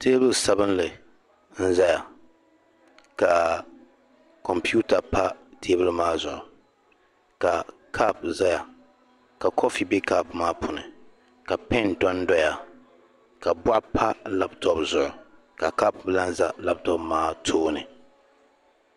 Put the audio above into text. Teebuli sabilinli n-zaya ka kɔmputa pa teebuli maa zuɣu ka kopu zaya ka kofi be kopu maa puuni ka pɛn to n-dɔya ka bɔɣu pa lapitɔpu zuɣu ka kopu lahi za lapitɔpu maa tooni.